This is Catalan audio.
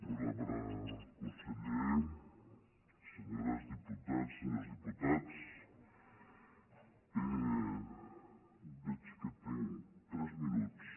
honorable con·seller senyores diputades senyors diputats veig que tinc tres minuts